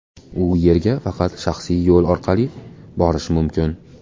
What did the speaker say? U yerga faqat shaxsiy yo‘l orqali borish mumkin.